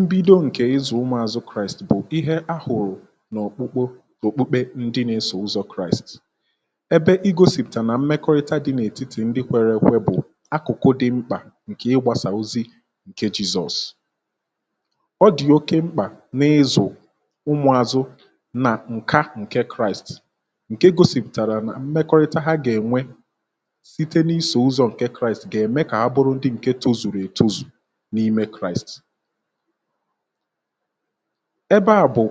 Mbido nke ịzụ̀ umùazụ̀ kraist bụ̀ ihe a hụ̀rụ̀ n’ọkpụkpọ okpokpe ndị nà-esò ụzọ̇ kraist ebe i gosìpụ̀tà nà mmekọrịta dị n’ètitì ndị kwere ekwe bụ̀ akụ̀kụ dị̇ mkpà nke ịgbȧsà ozi ǹke Jesus. Ọ dị̀ oke mkpà n’ịzụ̇ umùazụ̀ nà ǹka ǹke kraist nke gosìpụ̀tàrà nà mmekọrịta ha gà-ènwe site n'iso ụzọ nke Kraịst ga-eme ka ha bụrụ ndị nke tozuru etozu n’ime kraịst ẹbẹ à bụ̀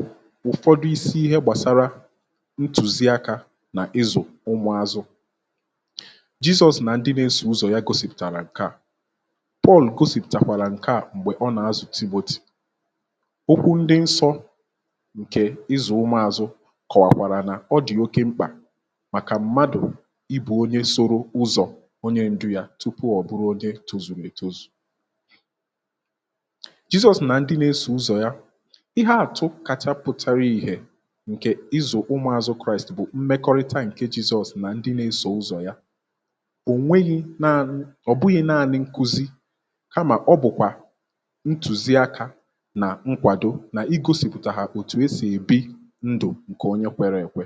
ụ̀fọdụ isi ihe gbàsara ntuzi akȧ n’izù ụmụ̀ azụ̀. Jesus nà ndị na-esọ̀ ụzọ̀ ya gosìpụ̀tàrà ǹkẹ̀ à Paul gosìpụ̀tàkwàrà ǹkẹ̀ à m̀gbè ọ nà-azụ̀ Timothy, okwụ ndị nsọ̇ ǹkẹ̀ ịzụ̀ ụmụ̀ azụ̀ kọ̀wàkwàrà nà ọdị̀ oké mkpà màkà mmadụ̀ ibu̇ onye soro ụzọ̀ onye ndụ ya tụpụ ọ bụrụ Onye tozùru ètozù. Jesus nà ndị nȧ-esò ụzọ̀ ya ihe àtụ kacha pụtara ihė ǹkè izụ̀ ụmụ̀azụ kraist bụ̀ mmekọrịta ǹke Jesus nà ndị nȧ-esò ụzọ̀ ya, ò nweghi̇ nanị ọ̀ bụghị̇ naȧnị̇ nkụzi kamà ọ bụ̀kwà ntùzi akȧ nà nkwàdo nà i gȯsìpụ̀tà ha òtù e sì èbi ndù ǹkè onye kwere èkwe.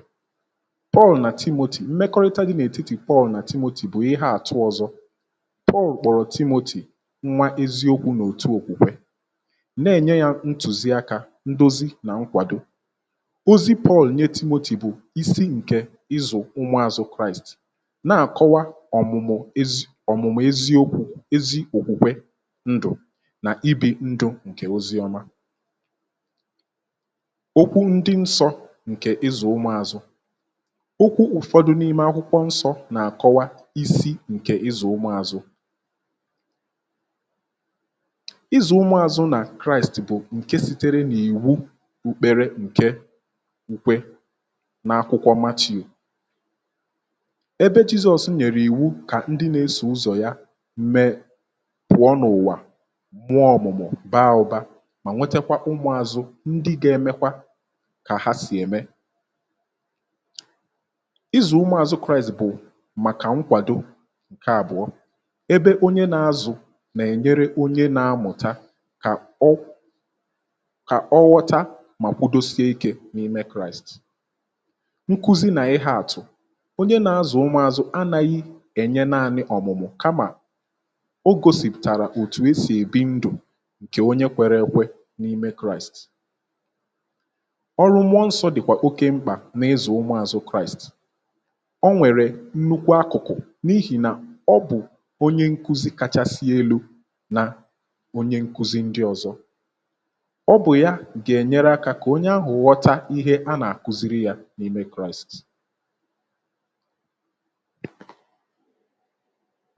Paul nà Timothy mmekọrịta dị n’ètitì Paul nà Timothy bụ̀ ihe àtụ ọzọ̇[CS[ Paul kpọrọ Timothy nwa eziokwu̇ nà-òtù okwùkwè na-ènye yȧ ntùzi akȧ, ndozi nà nkwàdo. Ozi Paul nye Timothy bụ̀ isi ǹkè ịzụ̀ ụmụ̇azụ̇ kraist na-àkọwa ọ̀mụ̀mụ̀ ezi, ọ̀mụ̀mụ̀ eziokwu̇ ezi òkwùkwè ndù na-ibi̇ ndu ǹkè oziọma. Okwu ndị nsọ̇ ǹkè ịzụ̀ ụmụ̇azụ̇ okwu ụ̀fọdụ n’ime akwụkwọ nsọ̇ nà-àkọwa isi ǹkè ịzụ̇ ụmụ̇azụ̇ ịzụ̀ ụmụ àzụ nà kraist bụ̀ ǹke sitere nà-ìwu ukpere ǹke ukwe n’akwụkwọ Matthew ebe Jesus nyèrè ìwu kà ndị nà-esò ụzọ̀ ya mee pụ̀ọ n’ụ̀wà muọ̀ ọ̀mụ̀mụ̀ baa ụ̀ba mà nwetakwa ụmụ àzụ ndị ga-emekwa kà ha sì ème. Ịzụ ụmụ azụ Kraịst bú maka nkwado, nke abụọ ebe onye nà-azụ̀ nà-ènyere onye na-amụ̀ta kà ọ kà ọwọta mà kwudosie ikė n’ime kraịst. Nkụzi nà ịhe àtụ̀ onye na-azụ̀ ụmụ̀ azụ̀ anaghị ènye naȧnị ọ̀mụ̀mụ̀ kamà o gȯsìpụ̀tàrà òtù e sì èbi ndụ̀ ǹkè onye kwere ekwe n’ime kraịst, ọrụ mụọ nsọ dị̀kwà oke mkpà n’ịzụ̇ ụmụ̀ azụ̀ kraịst ọ nwèrè nnukwu akụ̀kụ̀ n’ihì nà ọ bụ̀ onye nkụzị kachasị elu na onye nkụzi ndị ọ̀zọ, ọ bụ̀ ya gà-ènyere akȧ kà onye ahụ̀ ghọta ihe a nà-àkụziri yȧ n’ime kraisti.